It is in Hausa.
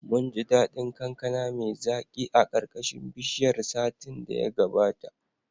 Munji daɗin kankana mai zaki a ƙarƙashin bishiyar satin da ya gabata.